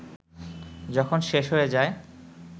যখন শেষ হয়ে যায়